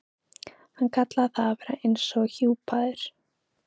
Hann kallaði það að vera eins og hjúpaður.